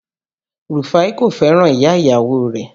Rufai kò fẹ́ràn ìyá ìyàwó rẹ̀